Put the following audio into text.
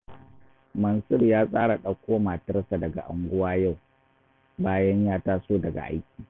Mansur ya tsara ɗauko matarsa daga unguwa yau, bayan ya taso daga aiki